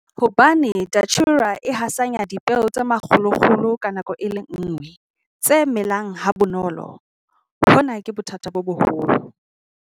Hobane Datura e hasanya dipeo tse makgolokgolo ka nako e le nngwe, tse melang ha bonolo, hona ke bothata bo boholo.